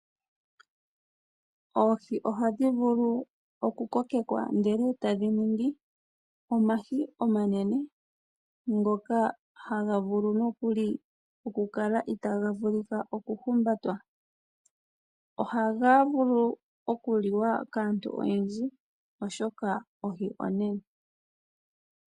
Oohi ohadhi vulu okukokekwa ndele e tadhi ningi omahi omanene ngoka haga vulu nookuli oku kala itaaga vulika okuhumbatwa. Ohaga vulu okuliwa kaantu oyendji oshoka ohi onene.